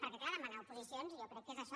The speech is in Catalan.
perquè clar demanar oposicions jo crec que és això